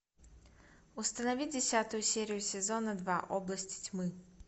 установи десятую серию сезона два области тьмы